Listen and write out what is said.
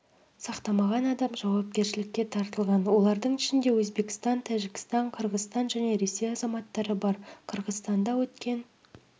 сақтамаған адам жауапкершілікке тартылған олардың ішінде өзбекстан тәжікстан қырғызстан және ресей азаматтары бар қырғызстанда өткен